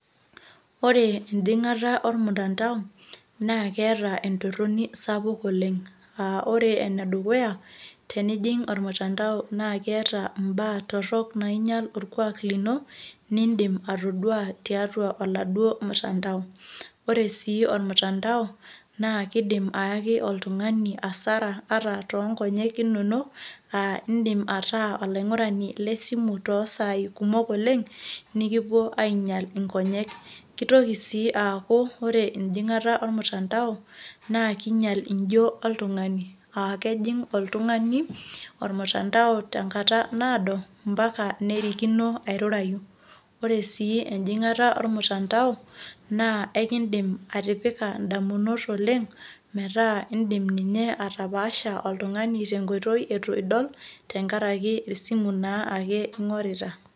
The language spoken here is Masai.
Ore enjing'ani ormutandao naa keeta entorroni sapuk oleng' aa ore enedukuya tenijing' ormutandao naa keeta imbaa torrok naa kiinyial orkuaak lino niidim atoduaa tiatua oladuoo mtandao ore sii ormutandao naa kiidim ayaki oltung'ani hasara toonkonyek inonok aa iindim ataa olaing'urani le simu toosaai kumok oleng' nikipuo ainyial nkonyek kitoki sii aaku ore enjing'ata ormtandao naa kiinyial njo oltung'ani aa kejing' oltung'ani ormuntandao tenkata naado mpaka nerikino airurayu, ore sii enjing'ata ormutandao naa aikiindim atipika indamunot oleng' metaa iindim ninye atapaasha oltung'ani tenkoitoi itu idol tenakaraki aa esimu naake ing'orita.